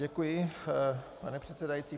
Děkuji, pane předsedající.